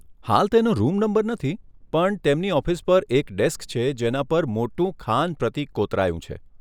હાલ તેનો room number નથી. પણ તેમની ઓફિસ પર એક ડેસ્ક છે જેના પર મોટું ખાન પ્રતીક કોતરાયું છે.